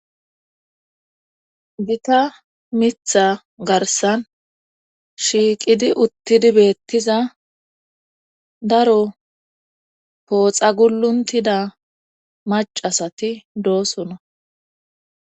gita mitha garsan shiiqidi uttidi beettiza daro pooxa guluntida macasati doosona